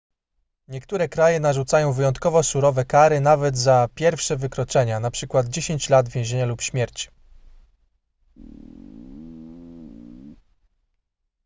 niektóre kraje narzucają wyjątkowo surowe kary nawet za pierwsze wykroczenia np 10 lat więzienia albo śmierć